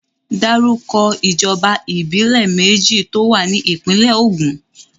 Dárúkọ ìjọba ìbílẹ̀ méjì tó wà ní ìpínlè Ògùn.